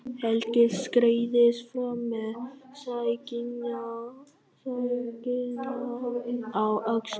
Helgi skreiðist fram með sængina á öxlunum.